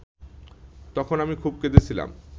তখন আমি খুব কেঁদেছিলাম